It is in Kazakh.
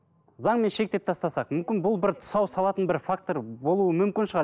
заңмен шектеп тастасақ мүмкін бұл бір тұсау салатын бір фактор болуы мүмкін шығар